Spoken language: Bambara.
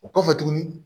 O kɔfɛ tuguni